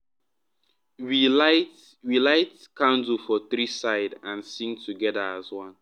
we light we light candle for three side and sing together as one.